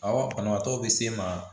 Awɔ banabaatɔw bɛ s'e ma